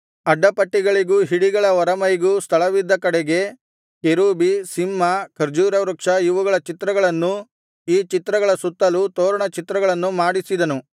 ಅಡ್ಡಪಟ್ಟಿಗಳಿಗೂ ಹಿಡಿಗಳ ಹೊರಮೈಗೂ ಸ್ಥಳವಿದ್ದ ಕಡೆಗೆ ಕೆರೂಬಿ ಸಿಂಹ ಖರ್ಜೂರವೃಕ್ಷ ಇವುಗಳ ಚಿತ್ರಗಳನ್ನೂ ಈ ಚಿತ್ರಗಳ ಸುತ್ತಲೂ ತೋರಣ ಚಿತ್ರಗಳನ್ನೂ ಮಾಡಿಸಿದನು